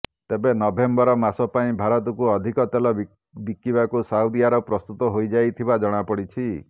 ତେବେ ନଭେମ୍ବର ମାସ ପାଇଁ ଭାରତକୁ ଅଧିକ ତେଲ ବିକିବାକୁ ସାଉଦି ଆରବ ପ୍ରସ୍ତୁତ ହୋଇଯାଇଥିବା ଜଣାପଡ଼ିଛି